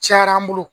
Cayara an bolo